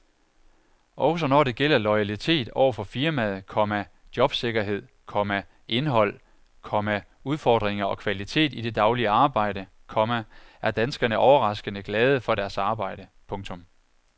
Også når det gælder loyalitet over for firmaet, komma jobsikkerhed, komma indhold, komma udfordringer og kvalitet i det daglige arbejde, komma er danskerne overraskende glade for deres arbejde. punktum